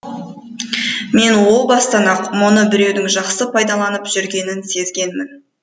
мен о бастан ақ мұны біреудің жақсы пайдаланып жүргенін сезгенмін